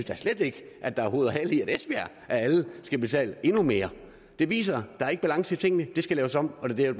da slet ikke at der er hoved og hale i at esbjerg af alle skal betale endnu mere det viser at der ikke er balance i tingene det skal laves om og det er